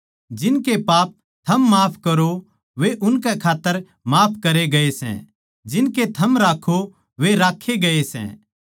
जिनके पाप थम माफ करो वे उनकै खात्तर माफ करे गए सै जिनके थम राक्खो वे राक्खे गए सै